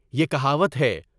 یہ کہاوت ہے۔